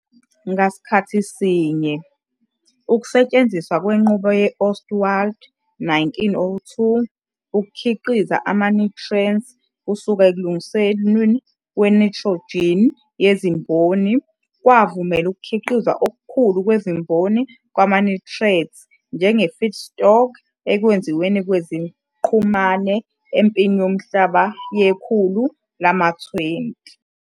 Ngasikhathi sinye, ukusetshenziswa kwenqubo ye-Ostwald, 1902, ukukhiqiza ama-nitrate kusuka ekulungisweni kwe-nitrogen yezimboni kwavumela ukukhiqizwa okukhulu kwezimboni kwama-nitrate njenge-feedstock ekwenziweni kweziqhumane eMpini Yomhlaba yekhulu lama-20.